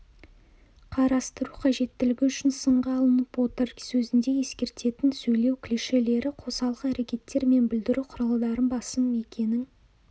қарастыру қажеттілігі үшін сынға алынып отыр сөзінде ескертетін сөйлеу клишелері қосалқы әрекеттер мен білдіру құралдары басым екенін